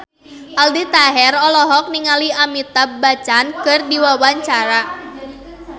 Aldi Taher olohok ningali Amitabh Bachchan keur diwawancara